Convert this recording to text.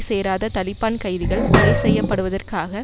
சேராத தலிபான் கைதிகள் கொலைசெய்யப்படுவதற்காக